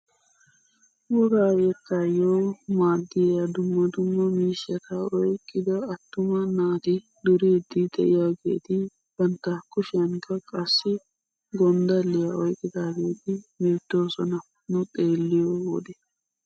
Wogaa yettaayo maaddiyaa dumma dumma miishshat oyqqida attuma naati duriidi de'iyaageti bantta kushiyaanikka qassi gonddaliyaa oyqqidaageti beettoosona nu xeelliyoo wode.